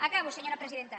acabo senyora presidenta